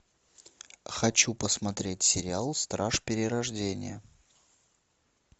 хочу посмотреть сериал страж перерождения